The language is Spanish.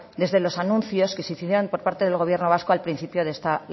desde los anuncios que se hicieron por parte del gobierno vasco al principio de esta